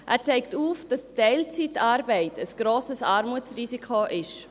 Er zeigt auf, dass Teilzeitarbeit ein grosses Armutsrisiko ist.